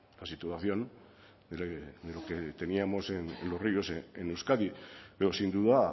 la situación de lo que teníamos en los ríos en euskadi pero sin duda